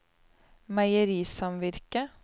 meierisamvirket